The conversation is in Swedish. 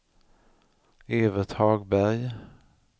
Evert Hagberg